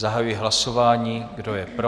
Zahajuji hlasování, kdo je pro?